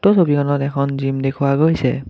উক্ত ছবিখনত এখন জিম দেখুওৱা গৈছে।